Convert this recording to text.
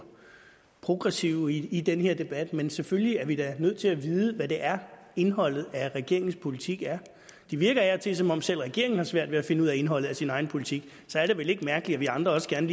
progressive i den her debat men selvfølgelig er vi da nødt til at vide hvad det er indholdet af regeringens politik er det virker af og til som om selv regeringen har svært ved at finde ud af indholdet af sin egen politik og så er det vel ikke mærkeligt at vi andre også gerne